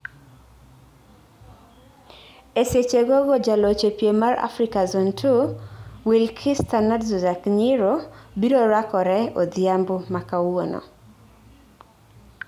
Esechegogogo, jaloch e piem mar Afrika Zone Two, Wilikister Nadzuwag Nyiro biro rakorke odhiambo makawuono